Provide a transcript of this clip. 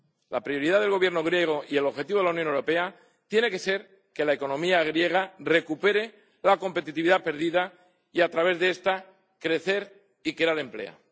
La prioridad del Gobierno griego y el objetivo de la Unión Europea tiene que ser que la economía griega recupere la competitividad perdida, y a través de esta crecer y crear empleo.